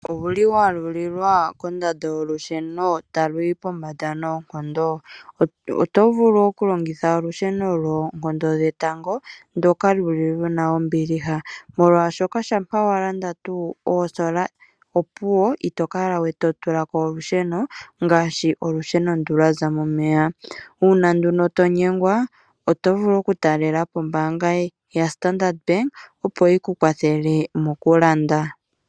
Owuli wa lulilwa kondando yolusheno talu yi pombanda noonkondo otovulu oku longitha olusheno lwoonkondo dhetango ndoka luna ombiliha molwaashoka shampa wa landa opuwo itokala we totulako olusheno ngaashi olusheno ndu lwaza momeya. Uuna nduno tonyengwa otovulu oku talelapo ombaanga ya Standard opo yi kukwathele mokulanda.